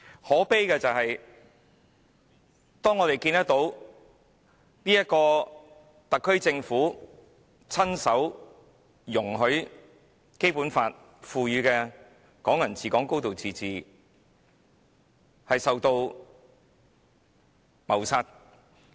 可悲的是，我們看到特區政府親手容許《基本法》賦予的"港人治港"、"高度自治"被謀殺。